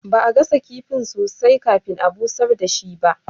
Ba'a gasa kifin sosai kafin a busher dashi ba.